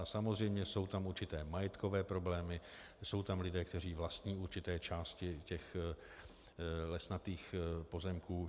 A samozřejmě jsou tam určité majetkové problémy, jsou tam lidé, kteří vlastní určité části těch lesnatých pozemků.